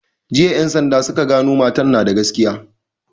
Jiya en sanda suka gano matan na da gaskiya